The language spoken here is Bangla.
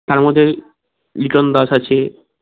তার মধ্যে ইকণ দাস আছে